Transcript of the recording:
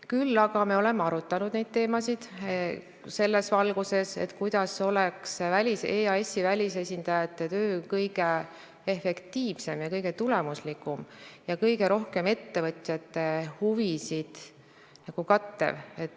Küll aga oleme neid teemasid arutanud selles valguses, kuidas oleks EAS-i välisesindajate töö kõige efektiivsem, kõige tulemuslikum ja kõige rohkem ettevõtjate huvisid kattev.